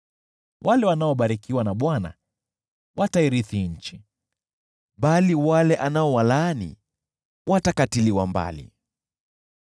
Wale wanaobarikiwa na Bwana watairithi nchi, bali wale anaowalaani watakatiliwa mbali.